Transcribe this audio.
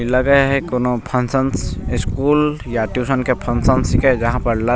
इ लगे हेय कोनो फंक्शंस स्कूल या ट्यूशन के फंशन छीये जहां पर लर --